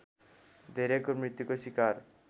धेरैको मृत्युको सिकार